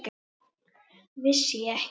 Vissi ég ekki!